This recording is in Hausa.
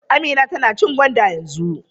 Amina tana cin gwanda yanzu.